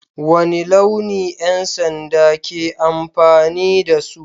Wane launi 'yan sanda ke amfani da su?